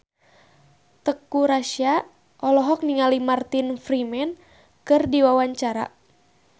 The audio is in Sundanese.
Teuku Rassya olohok ningali Martin Freeman keur diwawancara